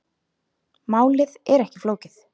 Málið er ekki flókið.